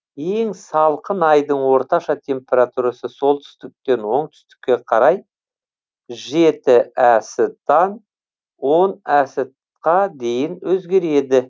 ең салқын айдың орташа температурасы солтүстіктен оңтүстікке қарай жеті әс тан он әс қа дейін өзгереді